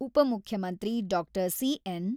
ಉಪಮುಖ್ಯಮಂತ್ರಿ ಡಾ.ಸಿ.ಎನ್.